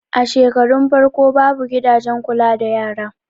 A shekarun farko babu gidajen kula da yara